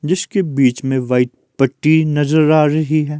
जिसके बीच में व्हाइट पट्टी नजर आ रही है।